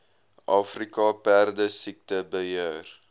afrika perdesiekte beheer